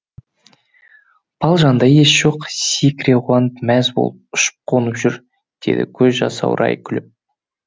балжанда ес жоқ секіре қуанып мәз болып ұшып қонып жүр деді көзі жасаурай күліп